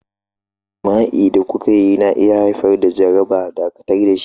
Jima'i da kuka yi na iya haifar da jaraba, dakatar da shi.